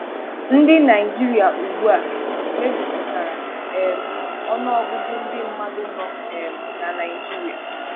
Ndi Naịjirịa ugbu a mejupụtara um ọnụọgụgụ ndị mmadụ nọ um na Naịjirịa.